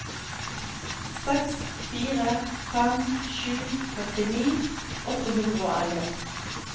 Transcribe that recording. seks fire fem sju førtini åtte hundre og elleve